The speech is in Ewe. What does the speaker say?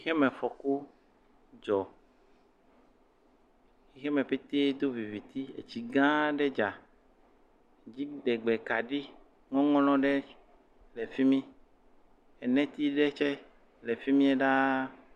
Xemefɔku dzɔ, xexime pete do viviti etsi gã aɖe dza, dziɖegbe kaɖi ŋɔŋlɔɖe le fi mi eneti aɖe tse le fi mie daa.